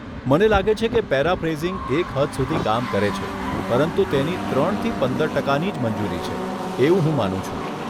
મને લાગે છે કે પેરાફ્રેઝિંગ એક હદ સુધી કામ કરે છે, પરંતુ તેની ત્રણથી પંદર ટકાની જ મંજૂરી છે, એવું હું માનું છું.